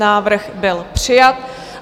Návrh byl přijat.